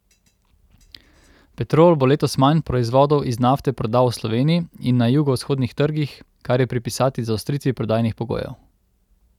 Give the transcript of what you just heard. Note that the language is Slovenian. Petrol bo letos manj proizvodov iz nafte prodal v Sloveniji in na jugovzhodnih trgih, kar je pripisati zaostritvi prodajnih pogojev.